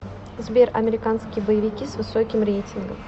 сбер американские боевики с высоким реитингом